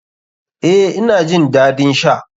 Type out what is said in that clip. Eh, ina jin dadin sha.